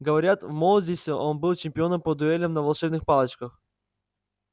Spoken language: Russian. говорят в молодости он был чемпионом по дуэлям на волшебных палочках